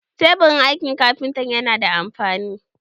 Taburin aikin kafinta yana da amfani.